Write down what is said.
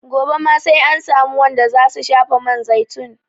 Gobe ma sai an samu wanda za su shafa man zaitun.